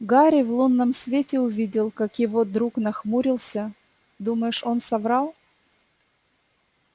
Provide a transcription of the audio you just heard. гарри в лунном свете увидел как его друг нахмурился думаешь он соврал